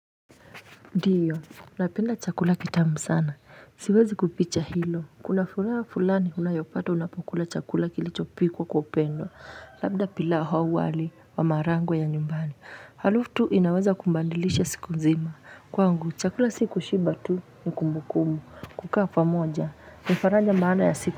Ndiyo napenda chakula kitamu sana siwezi kuficha hilo kuna fulani unayopata unapokula chakula kilichopikwa kwa upendo labda pilau au wali wa maharagwe ya nyumbani harufu tu inaweza kubadilisha siku nzima kwangu chakula si kushiba tu ni kumbukumbu kukaa pamoja ni faraja maana ya siku.